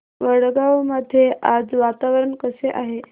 वडगाव मध्ये आज वातावरण कसे आहे